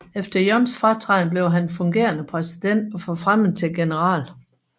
Efter Yuns fratræden blev han fungerende præsident og forfremmet til general